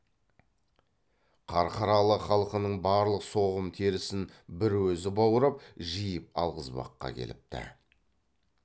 қарқаралы халқының барлық соғым терісін бір өзі баурап жиып алғызбаққа келіпті